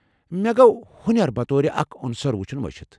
مےٚ گو٘ ہٗنیر بطور اكھ عنصر وٗچھٗن مشِتھ ۔